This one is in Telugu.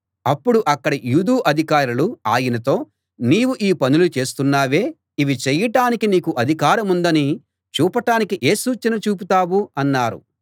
అప్పుడు అక్కడి యూదు అధికారులు ఆయనతో నీవు ఈ పనులు చేస్తున్నావే ఇవి చేయటానికి నీకు అధికారముందని చూపటానికి ఏ సూచన చూపుతావు అన్నారు